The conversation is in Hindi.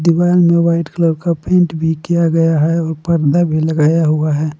दिवाल में वाइट कलर का पेंट भी किया गया है और पर्दा भी लगाया हुआ है।